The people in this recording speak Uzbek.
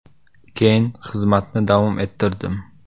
Keyin xizmatni davom ettirdim.